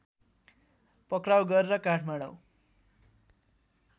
पक्राऊ गरेर काठमाडौँ